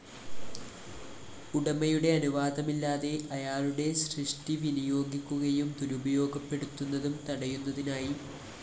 ഉടമയുടെ അനുവാദമില്ലാതെ അയാളുടെടെ സൃഷ്ടി വിനിയോഗിക്കുകയും ദുരുപയോഗപ്പെടുത്തുന്നതും തടയുന്നതിനായി